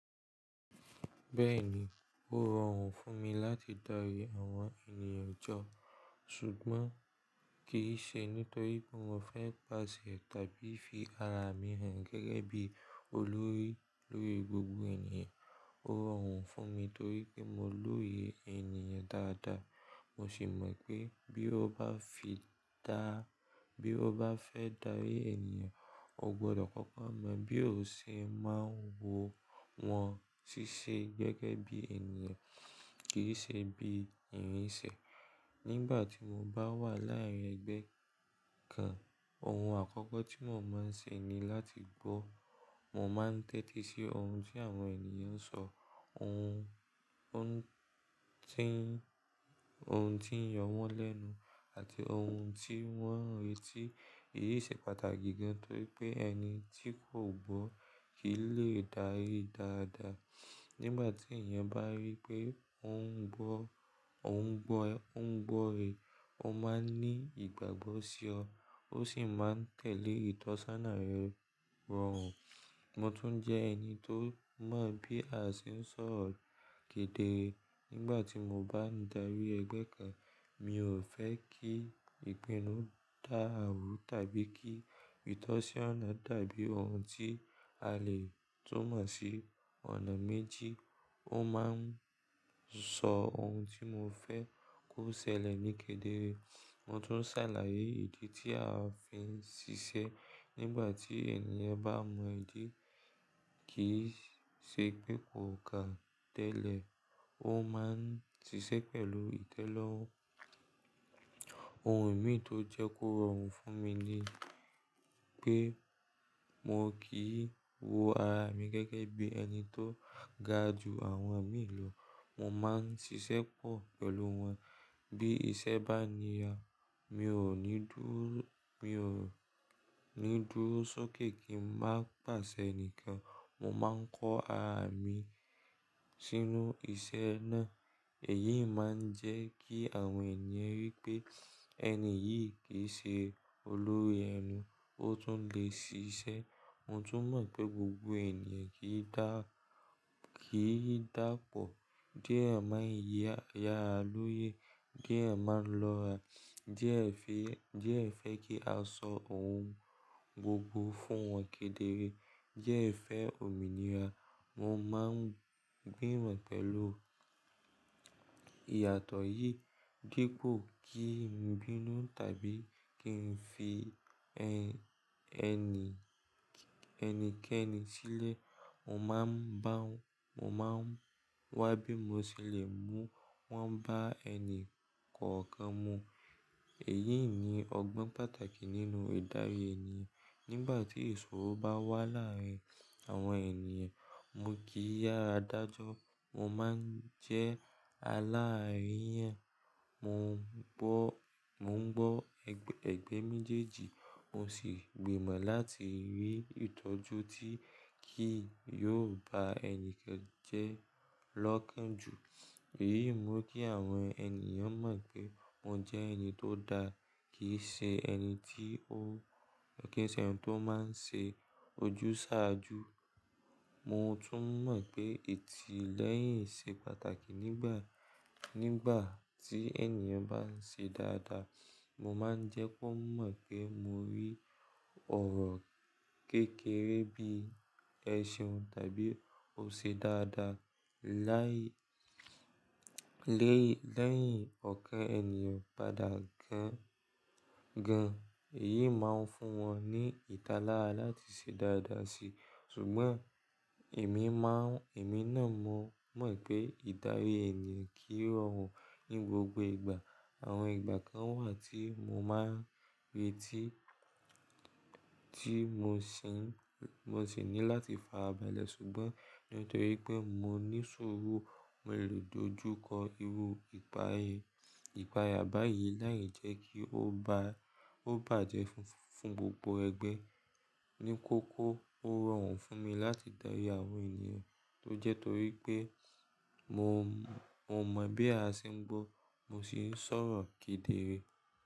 Bẹ́ẹ̀ni, ó rọrùn fún mi láti darí àwọn ènìyàn jọ, ṣùgbọ́n kì í ṣe nítorí pé mo fẹ́ pàṣẹ tàbí fi ara mi hàn gẹ́gẹ́ bí olórí lórí gbogbo ènìyàn. Ó rọrùn fún mi torí pé mo lórí ènìyàn dáadáa. Mo sì mọ̀ pé bí ó bá fìdá-- bí ó bá fẹ́ darí ènìyàn, o gbọdọ̀ kọ́kọ́ mọ bí òṣì máa ń wo wọn ṣíṣe gẹ́gẹ́ bí ènìyàn, kì í ṣe bí ìrìnsẹ̀. Nígbà tí mo bá wà láàárín ẹgbẹ́ kan, ohun àkọ́kọ́ tí mo máa ń ṣe ni láti gbọ́. Mo máa ń tẹ́tí sí ohun tí àwọn ènìyàn ń sọ, ohun ń tin, ohun tí ń yọ wọ́n lẹ́nu àti ohun tí wọ́n ń retí. Èyí ṣe pàtàkì gan torí pé ẹni tí kò gbọ́ kì í lè dárí dáadáa. Nígbà tí ènìyàn bá rí pé ó ń gbọ́, ó ń gbọ́ ẹ, ó ń gbọ́ re, ó máa ń ní ìgbàgbọ́ sí ọ, ó sì máa tẹ̀lé ìtọ́sánà rẹ rọrùn. Mo tún jẹ́ ẹni tó mọ̀ bí a ṣe ń sọ̀rọ̀ kedere. Nígbà tí mo bá ń darí ẹgbẹ́ kan, mi ò fẹ́ kí ìpinnu dàrú tàbí kí ìtọ́sọ́nà tàbí ohun tí a lè tún mọ̀ sí ọ̀nà méjì, ó máa ń sọ ohun tí mo fẹ́ kó ṣẹlẹ̀ ní kedere. Mo tún ń ṣàlàyé ìdí tí a fi ń ṣiṣẹ́. Nígbà tí ènìyàn bá mọ ìdí kì í ṣe pé kò kà tẹ́lẹ̀, ó máa ń ṣiṣẹ́ pẹ̀lú ìtẹ́lọ́rùn. Ohun mìí tó jẹ́ kó rọrùn fún mi ni pé mo kì í wo ara mi gẹ́gẹ́ bí ẹni tó gaju àwọn mii lọ. Mo máa ń ṣiṣẹ́ pọ̀ pẹ̀lú wọn. Bí iṣẹ́ bá níya, mi ò ní dúró, mi ò ní dúró sókè kí n má pàṣẹ nìkan. Mo máa ń kọ ara mi sínú iṣẹ́ náà. Èyí máa ń jẹ́ kí àwọn ènìyàn rí pé ẹni yìí kì í ṣe olórí ẹnu, ó tún lè ṣiṣẹ́. Mo tún mọ̀ pé gbogbo ènìyàn kì í dà, kì í dàpọ̀. Diẹ máa ń yẹ́ ará lóye, diẹ máa ń lọ́ra, diẹ fẹ́, diẹ fẹ́ kí a sọ ohun gbogbo fún wọn kedere, diẹ fẹ́ òmìnira. Mo máa ń gbìmọ̀ pẹ̀lú ìyàtọ̀ yìí. Dípo kí n bínú tàbí kí n fi ẹni, ẹnikẹ́ni sílẹ̀, mo máa ń bá, mo máa ń wá bí mo ṣe le mú wọ́n bá ẹni kọ̀ọ̀kan mu. Èyí ni ọgbọ́n pàtàkì nínú ìdarí ènìyàn. Nígbà tí èso bá wà láàárín àwọn ènìyàn, mo kì í yára dájọ́. Mo máa ń jẹ́ aláàríyàn. Mò ń gbọ́, mò ń gbọ́ ègbẹ́ méjèèjì. Mo sì gbìmọ̀ láti rí ìtọ́jú tí kì yóò bá ẹnikẹ́ni jẹ́ lọ́kàn jù. Èyí mú kí àwọn ènìyàn mọ̀ pé mo jẹ́ ẹni tó dáa, kì í ṣe ẹni tí ó, kì í ṣe ẹni tí ó máa ń ṣe ojúṣàájú. Mo tún mọ̀ pé ití lẹ́yìn ṣe pàtàkì nígbà, nígbà tí ènìyàn bá ń ṣe dáadáa. Mo máa ń jẹ́ kó mọ̀ pé mo rí ọ̀rọ̀ kékeré bí i ẹ̀ṣeun tàbí ò ṣe dáadáa láì, lé, lẹ́yìn ọ̀kán ènìyàn padà gan gan. Èyí máa ń fún wọn ní ìtalára láti ṣe dáadáa si. Ṣùgbọ́n èmi máa ń, èmi náà mọ̀, mọ̀ pé ìdarí ènìyàn kì í rọrùn ní gbogbo ìgbà. Àwọn ìgbà kan wà tí mo máa ń retí, tí mo sì ń, mo sì ní láti farabalẹ̀ ṣùgbọ́n nítorí pé mo ní ṣuuru, mo lè dojúkọ irú ìpayà báyìí láijẹ kí ó bá, ó bàjẹ́ fún gbogbo ẹgbẹ́. Ni kókó ó rọrùn fún mi láti darí àwọn ènìyàn tó jẹ́ torí pé mo, mo mọ̀ bí a ṣe ń gbọ́, mo sì ń sọ̀rọ̀ kedere.